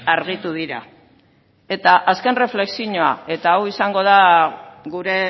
argitu dira eta azken erreflexioa eta hau izango da gure